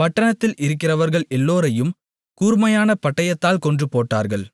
பட்டணத்தில் இருக்கிறவர்கள் எல்லோரையும் கூர்மையான பட்டயத்தால் கொன்றுபோட்டார்கள்